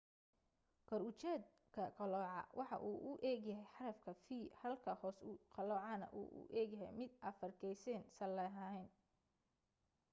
kor ujeedka qalooca waxa uu u eg yahay xarafka v halka hoos u qaloocana uu u egyahay mid afargeys salaheyn